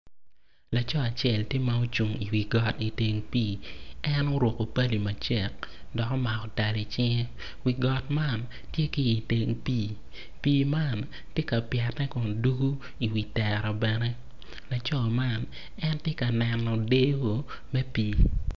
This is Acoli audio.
Laco acel tye ma ocung i wi got iteng pii en oruku pali macek dok omako tal icinge wi got man tye ki iteng pii pii man ti ka pyette kun dugu iwi tera bene laco man en tye ka neno dyeyo me pii